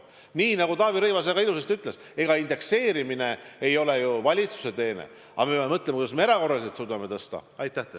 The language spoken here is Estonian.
Nii nagu Taavi Rõivas väga ilusasti ütles, ega indekseerimine ei ole ju valitsuse teene, aga me peame mõtlema, kuidas me erakorraliselt suudame pensioni tõsta.